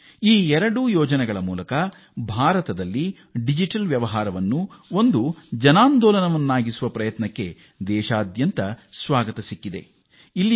ಈ ಎರಡು ಯೋಜನೆಗಳಿಂದಾಗಿ ಡಿಜಿಟಲ್ ಪಾವತಿಯನ್ನು ಒಂದು ಸಾಮೂಹಿಕ ಆಂದೋಲನವಾಗಿ ಆರಂಭಿಸಲಾಗಿದೆಇದಕ್ಕೆ ಅಭೂತಪೂರ್ವ ಸ್ವಾಗತ ದೇಶದಾದ್ಯಂತ ದೊರೆತಿದೆ